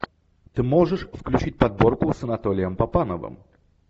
ты можешь включить подборку с анатолием папановым